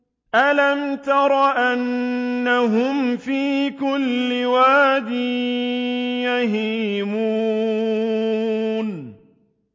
أَلَمْ تَرَ أَنَّهُمْ فِي كُلِّ وَادٍ يَهِيمُونَ